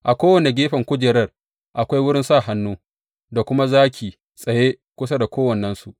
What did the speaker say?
A kowane gefen kujerar akwai wurin sa hannu, da kuma zaki tsaye kusa da kowannensu.